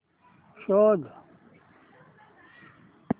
शोध